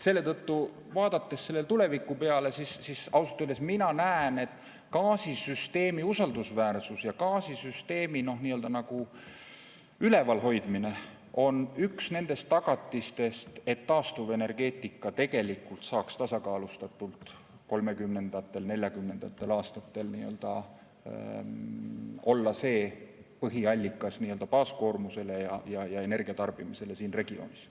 Selle tõttu, vaadates tulevikku, ausalt öeldes mina näen, et gaasisüsteemi usaldusväärsus ja gaasisüsteemi üleval hoidmine on üks nendest tagatistest, et taastuvenergeetika tegelikult saaks tasakaalustatult 2030.–2040. aastatel olla see põhiallikas baaskoormuse katmisel ja energiatarbimisel siin regioonis.